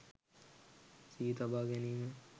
සිහි තබා ගැනීම